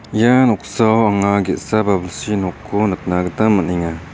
ia noksao anga ge·sa babilsi nokko nikna gita man·enga.